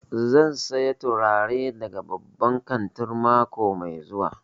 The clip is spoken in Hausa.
Zan saya turare daga babban kantin mako mai zuwa